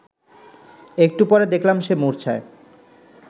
একটু পরে দেখলাম সে মূর্ছায়